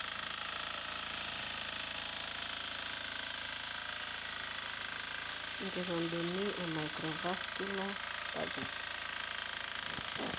Nkirondoni e microvasculopathic.